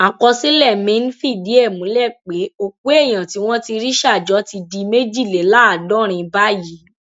àkọsílẹ míín fìdí ẹ múlẹ pé òkú èèyàn tí wọn ti rí ṣà jọ ti di méjìléláàádọrin báyìí